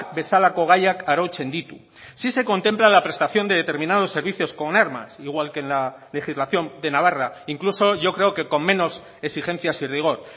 bezalako gaiak arautzen ditu sí se contempla la prestación de determinados servicios con armas igual que en la legislación de navarra incluso yo creo que con menos exigencias y rigor